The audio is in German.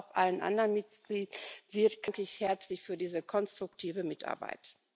Aber auch allen anderen Mitwirkenden danke ich herzlich für diese konstruktive Mitarbeit.